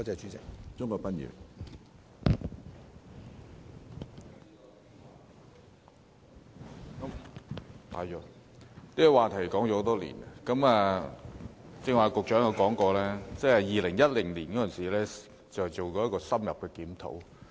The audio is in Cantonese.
這個課題已討論多年，局長剛才提到，政府曾於2010年進行深入檢討。